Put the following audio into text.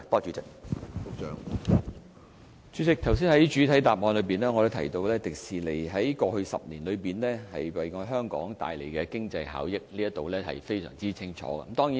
主席，我剛才在主體答覆裏已提及迪士尼在營運首10年為香港帶來的經濟效益，這方面是非常清楚的。